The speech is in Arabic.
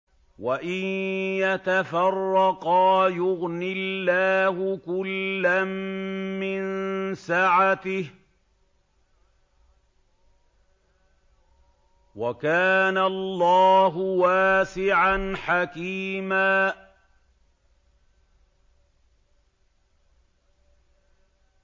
وَإِن يَتَفَرَّقَا يُغْنِ اللَّهُ كُلًّا مِّن سَعَتِهِ ۚ وَكَانَ اللَّهُ وَاسِعًا حَكِيمًا